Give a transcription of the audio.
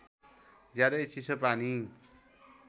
ज्यादै चिसो पानी